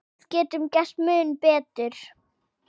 Við getum gert mun betur.